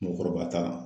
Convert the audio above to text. Mɔgɔkɔrɔba ta